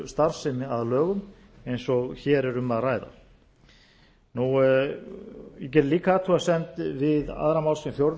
stjórnsýslustarfsemi að lögum eins og hér er um að ræða ég geri líka athugasemd við aðra málsgrein fjórðu